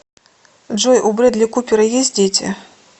джой у брэдли купера есть дети